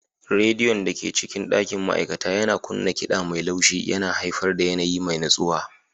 Rediyon da ke cikin ɗakin ma'aikata yana kunna kiɗa mai laushi yana haifar da yanayi mai natsuwa.